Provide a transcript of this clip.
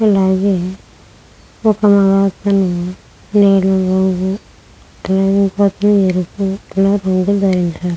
అలాగే ఒక మగతను నీళ్లలో --]